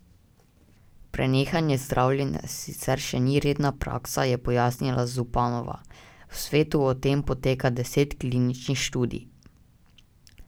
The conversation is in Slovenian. Prenehanje zdravljenja sicer še ni redna praksa, je pojasnila Zupanova: "V svetu o tem poteka deset kliničnih študij.